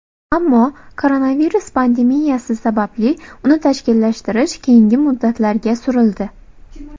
Ammo koronavirus pandemiyasi sababli uni tashkillashtirish keyingi muddatlarga surildi.